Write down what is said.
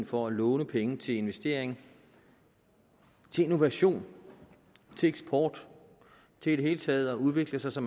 for at låne penge til investering til innovation til eksport til i det hele taget at udvikle sig så